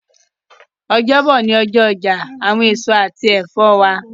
Ọjọbo ni ọjọ ọja awọn eso ati ẹfọ wa